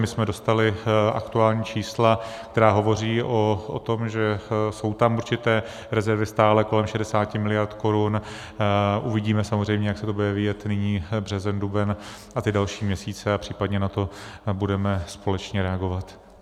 My jsme dostali aktuální čísla, která hovoří o tom, že jsou tam určité rezervy stále kolem 60 miliard korun, uvidíme samozřejmě, jak se to bude vyvíjet nyní, březen, duben a ty další měsíce, a případně na to budeme společně reagovat.